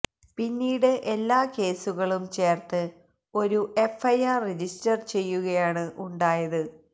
പിന്നീട് എല്ലാ കേസുകളും ചേർത്ത് ഒരു എഫ്ഐആർ രജിസ്റ്റർ ചെയ്യുകയാണ് ഉണ്ടായത്